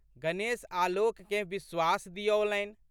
गणेश आलोककेँ विश्वास दिऔलनि।